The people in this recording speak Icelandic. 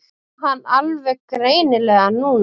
Sá hann alveg greinilega núna.